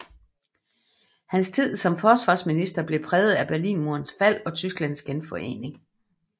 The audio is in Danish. Hans tid som forsvarsminister blev præget af Berlinmurens fald og Tysklands genforening